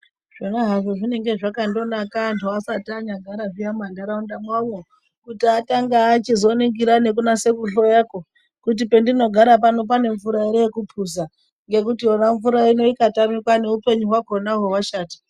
Zvona hazvo zvinenge zvakandonaka antu asati anyagara zviya mumanharaunda mwavomwo kuti atange achizoningira nekunase kuhloyakwo kuti pendinogara pano pane mvura ere yekupuza ngekuti yona mvura ino ikatamikwa neupenyu hwakhonahwo hwashata.